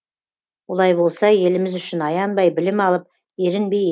олай болса еліміз үшін аянбай білім алып ерінбей